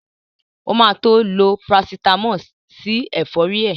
O ma tó lo Parasítámọ̀ sí ẹ̀fọ́rí ẹ̀